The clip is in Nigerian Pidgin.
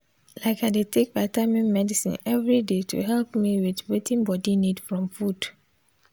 like i dey take vitamin medicine every day to help me with wetin body need from food